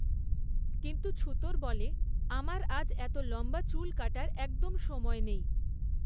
কিন্তু ছুতোর বলে, আমার আজ এত লম্বা চুল কাটার একদম সময় নেই!